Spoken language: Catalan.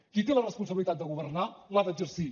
qui té la responsabilitat de governar l’ha d’exercir